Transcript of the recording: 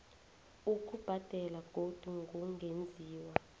ukubhadela godu kungenziwa